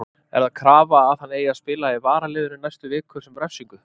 Er það krafa að hann eigi að spila í varaliðinu næstu vikur sem refsingu?